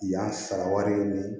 Yan sara wari ɲini